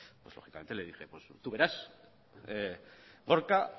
lógicamente le dije tú verás gorka